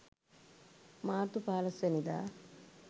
මාර්තු 15 වන දා